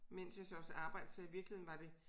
Mens jeg så også arbejdede så i virkeligheden var det